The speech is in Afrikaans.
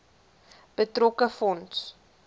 betrokke fonds